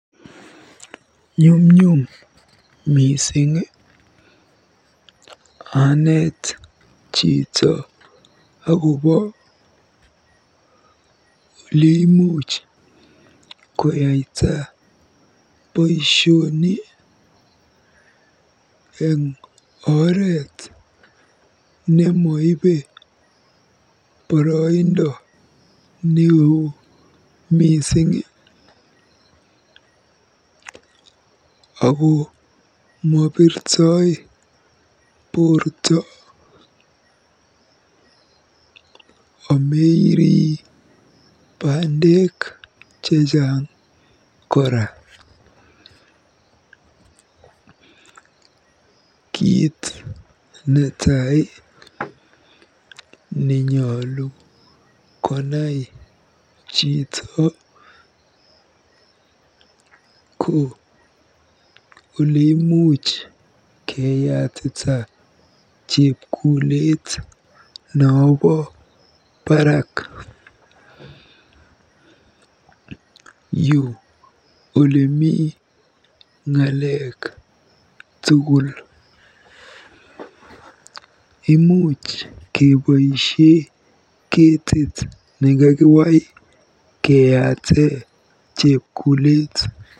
Nyumnyum mising aneet chito akobo oleimuch koyaita boisioni eng oret nemoibe boroindo neo mising ako mobirtoi borto ameirii bandek chechang kora. Kiit netai enyolu konai chito ko oleimuch keyatita chepkulet nobo barak. Yu olemi ng'alek tugul. Imuuch keboisie ketiit nekakiwai keyaate chepkulet.